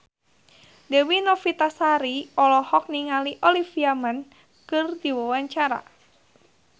Dewi Novitasari olohok ningali Olivia Munn keur diwawancara